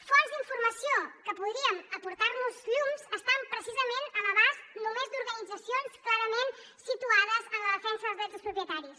fonts d’informació que podrien aportar nos llum estan precisament a l’abast només d’organitzacions clarament situades en la defensa dels drets dels propietaris